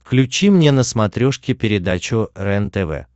включи мне на смотрешке передачу рентв